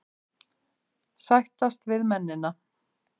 Sættast við mennina.